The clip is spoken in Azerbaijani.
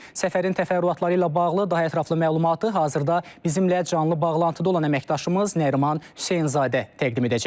Səfərin təfərrüatları ilə bağlı daha ətraflı məlumatı hazırda bizimlə canlı bağlantıda olan əməkdaşımız Nəriman Hüseynzadə təqdim edəcək.